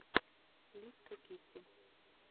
лиска китти